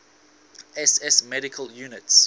ss medical units